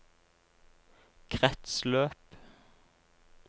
kretsløp